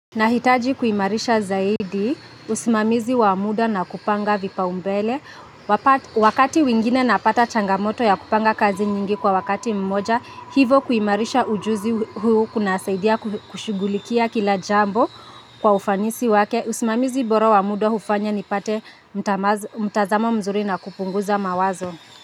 Nahitaji kuimarisha zaidi usimamizi wamuda na kupanga vipa umbele wakati mwingine napata changamoto ya kupanga kazi nyingi kwa wakati mmoja hivo kuimarisha ujuzi huu kuna saidia kushughulikia kila jambo kwa ufanisi wake usimamizi bora wamuda hufanya nipate mtazamo mzuri na kupunguza mawazo.